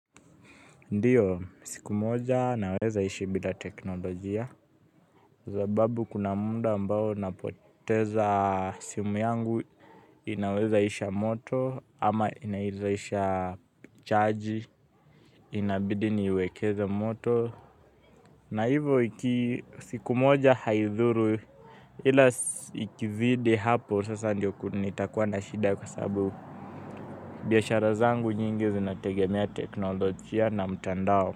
Ndiyo, siku moja ninawezaishi bila teknolojia, kwa sababu kuna muda ambao napoteza simu yangu inawezaisha moto, ama inawezaisha chaji, inabidi niiwekeze moto, na hivyo siku moja haidhuru ila ikizidi hapo sasa ndio nitakuwa na shida kwa sababu biashara zangu nyingi zinategemea teknolojia na mtandao.